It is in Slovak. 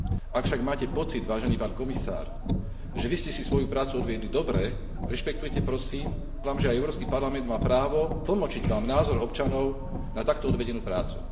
Ak však máte pocit, vážený pán komisár, že vy ste si svoju prácu odviedli dobre, rešpektujte prosím, že aj Európsky parlament má právo tlmočiť Vám názor občanov na takto odvedenú prácu.